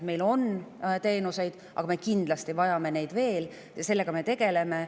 Meil on teenuseid, aga me kindlasti vajame neid veel, ja sellega me tegeleme.